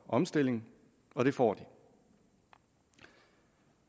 omstilling og det får de